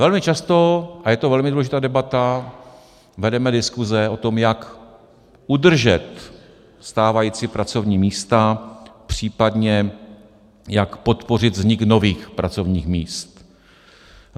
Velmi často - a je to velmi důležitá debata - vedeme diskuse o tom, jak udržet stávající pracovní míst, případně jak podpořit vznik nových pracovních míst.